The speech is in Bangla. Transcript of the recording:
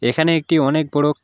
এখানে একটি অনেক বড়--